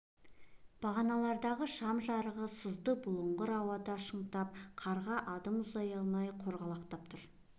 бағаналардағы шам жарығы сызды бұлыңғыр ауада шаңытып қарға адым ұзай алмай қорғалақтап тұр